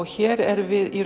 hér erum við